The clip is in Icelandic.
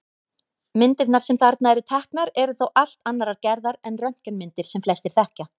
Myndirnar sem þarna eru teknar eru þó allt annarrar gerðar en röntgenmyndir sem flestir þekkja.